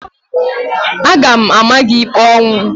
Aga m ama gị ikpe ọnwụ!